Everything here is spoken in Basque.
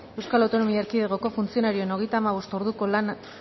eaeko funtzionarioen hogeita hamabost orduko lan